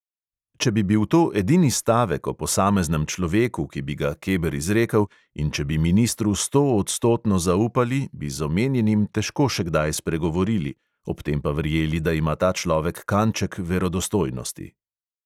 Če bi bil to edini stavek o posameznem človeku, ki bi ga keber izrekel, in če bi ministru stoodstotno zaupali, bi z omenjenim težko še kdaj spregovorili, ob tem pa verjeli, da ima ta človek kanček verodostojnosti.